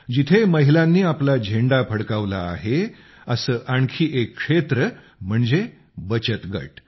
जिथे महिलांनी आपला झेंडा फडकावला आहे असे आणखी एक क्षेत्र म्हणजे बचत गट